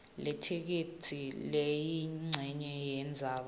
letheksthi leyincenye yendzaba